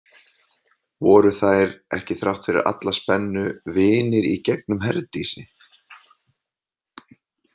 Voru þær ekki þrátt fyrir alla spennu vinir í gegnum Herdísi?